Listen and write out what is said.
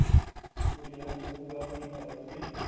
ਕੁੜੀਆਂ ਵਾਂਗੂ ਮੂੰਹ ਬਾਹਰ ਕੀਤਾ ਹੁੰਦਾ ਉਹਨੇ